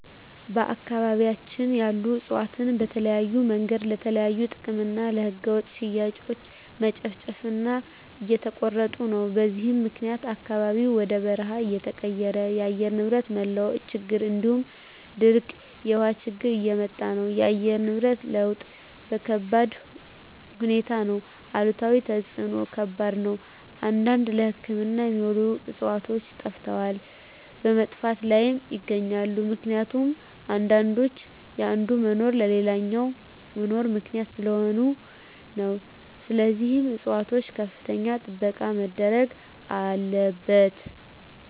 በአካባቢያቸን ያሉ እፅዋትን በተለያዮ መንገድ ለተለያዩ ጥቅም እና ለህገወጥ ሽያጭ መጨፍጨፉ እና እየተቆረጡ ነው በዚህም ምክኒያት አካባቢው ወደ በርሃ እየተቀየረ የአየር ንብረት መለዋወጥ ችግር እንዲሁም ድርቅ የውሀ ችግር እያመጣ ነው እና የአየር ንብረት ለውጥ ከባድሁኔታ ነው አሉታዊ ተፅዕኖው ከባድ ነው አንዳንድ ለህክምና የሚውሉ ዕፅዋቶች ጠፈተዋል በመጥፋት ላይም ይገኛሉ ምክኒቱም አንዳንዶች የአንዱ መኖር ለሌላኛው መኖር ምክኒያት ሰለሆኑ ነው ስለዚህም ፅፅዋቶች ከፍተኛ ጥበቃ መደረግ አለበት።